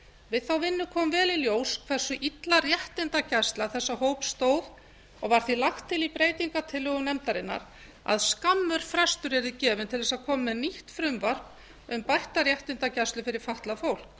við þá vinnu kom vel í ljós hversu illa réttindagæsla þessa fólks stóð og var því lagt til í breytingartillögum nefndarinnar að skammur frestur yrði gefinn til að koma með nýtt frumvarp um bætta réttindagæslu fyrir fatlað fólk